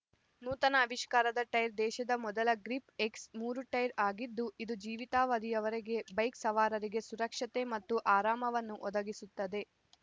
ನೂತನ ಅವಿಷ್ಕಾರದ ಟೈರ್ ದೇಶದ ಮೊದಲ ಗ್ರಿಪ್ ಎಕ್ಸ್ ಮೂರು ಟೈರ್ ಆಗಿದ್ದು ಇದು ಜೀವಿತಾವಧಿಯವರೆಗೆ ಬೈಕ್ ಸವಾರರಿಗೆ ಸುರಕ್ಷತೆ ಮತ್ತು ಆರಾಮವನ್ನು ಒದಗಿಸುತ್ತದೆ